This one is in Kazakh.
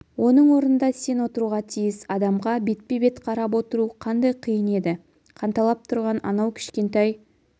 оның орнында сен отыруға тиіс адамға бетпе-бет қарап отыру қандай қиын еді қанталап тұрған анау кішкентай